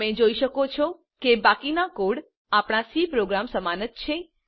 તમે જોઈ શકો છો કે બાકીનો કોડ આપણા સી પ્રોગ્રામ સમાન જ છે